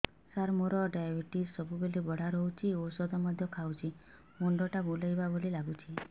ସାର ମୋର ଡାଏବେଟିସ ସବୁବେଳ ବଢ଼ା ରହୁଛି ଔଷଧ ମଧ୍ୟ ଖାଉଛି ମୁଣ୍ଡ ଟା ବୁଲାଇବା ଭଳି ଲାଗୁଛି